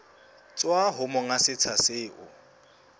tswa ho monga setsha seo